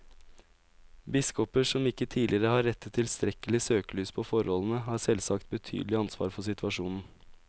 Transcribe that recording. Biskoper som ikke tidligere har rettet tilstrekkelig søkelys på forholdene, har selvsagt betydelig ansvar for situasjonen.